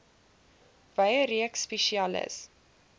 wye reeks spesialis